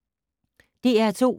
DR2